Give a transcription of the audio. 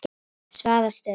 Svaðastöðum